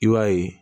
I b'a ye